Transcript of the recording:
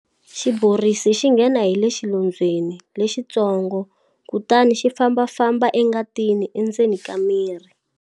Xiborisi xi nghena hi le xilondzweni lexitsongo kutani xi fambafamba engatini endzeni ka mirhi.